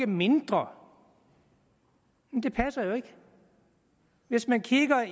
mindre det passer jo ikke hvis man kigger